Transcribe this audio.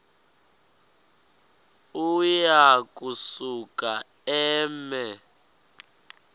uya kusuka eme